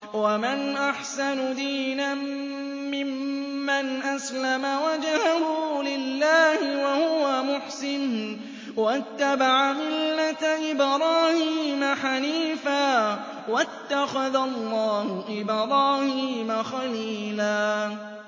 وَمَنْ أَحْسَنُ دِينًا مِّمَّنْ أَسْلَمَ وَجْهَهُ لِلَّهِ وَهُوَ مُحْسِنٌ وَاتَّبَعَ مِلَّةَ إِبْرَاهِيمَ حَنِيفًا ۗ وَاتَّخَذَ اللَّهُ إِبْرَاهِيمَ خَلِيلًا